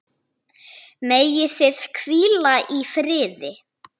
Megið þið hvíla í friði.